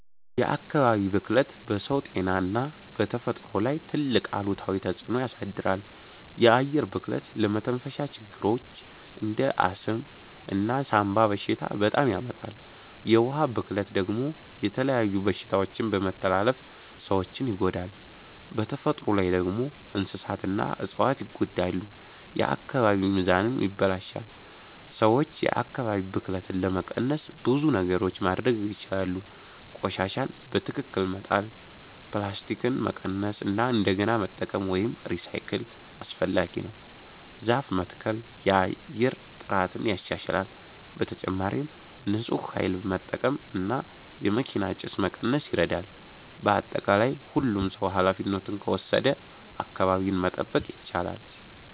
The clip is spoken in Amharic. የአካባቢ ብክለት በሰው ጤና እና በተፈጥሮ ላይ ትልቅ አሉታዊ ተፅዕኖ ያሳድራል። የአየር ብክለት ለመተንፈሻ ችግሮች እንደ አስም እና ሳንባ በሽታ ያመጣል። የውሃ ብክለት ደግሞ የተለያዩ በሽታዎችን በመተላለፍ ሰዎችን ይጎዳል። በተፈጥሮ ላይ ደግሞ እንስሳትና እፅዋት ይጎዳሉ፣ የአካባቢ ሚዛንም ይበላሽታል። ሰዎች የአካባቢ ብክለትን ለመቀነስ ብዙ ነገሮች ማድረግ ይችላሉ። ቆሻሻን በትክክል መጣል፣ ፕላስቲክን መቀነስ እና እንደገና መጠቀም (recycle) አስፈላጊ ነው። ዛፍ መትከል የአየር ጥራትን ያሻሽላል። በተጨማሪም ንፁህ ኃይል መጠቀም እና የመኪና ጭስ መቀነስ ይረዳል። በአጠቃላይ ሁሉም ሰው ኃላፊነቱን ከወሰደ አካባቢን መጠበቅ ይቻላል።